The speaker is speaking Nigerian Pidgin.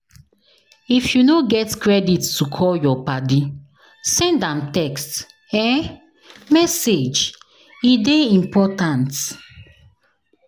If you no get credit to call your paddy send am text um message, e dey important.